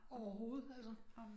Overhovedet altså